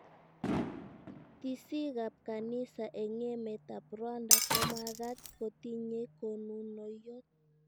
Tisiikab kanisa eng emetab Rwanda komakaat kotinyei konunoiyot